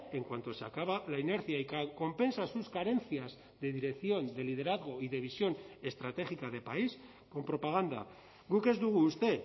en cuanto se acaba la inercia y que compensa sus carencias de dirección de liderazgo y de visión estratégica de país con propaganda guk ez dugu uste